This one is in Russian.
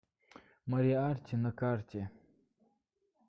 мориарти на карте